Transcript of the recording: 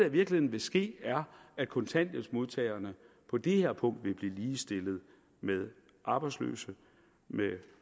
i virkeligheden vil ske at kontanthjælpsmodtagerne på det her punkt vil blive ligestillet med arbejdsløse med